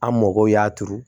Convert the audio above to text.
An mɔgɔw y'a turu